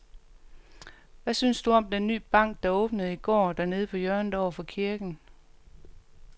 Hvad synes du om den nye bank, der åbnede i går dernede på hjørnet over for kirken?